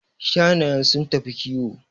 Shanayen sun tafi kiwo